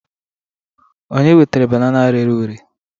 onye wetara banana rere ure?